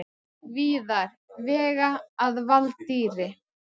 Víðar, vega að valdýri.